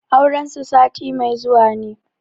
Auren su sati mai zuwa ne.